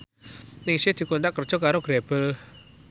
Ningsih dikontrak kerja karo Grebel